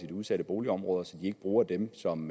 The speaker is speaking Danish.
de udsatte boligområder så de ikke bruger dem som